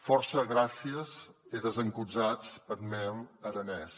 fòrça gràcies e desencusatz eth mèn aranés